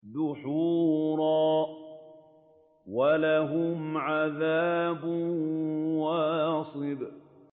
دُحُورًا ۖ وَلَهُمْ عَذَابٌ وَاصِبٌ